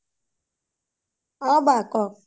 ও বা কওঁক